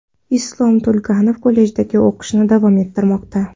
Islombek To‘laganov kollejdagi o‘qishini davom ettirmoqda.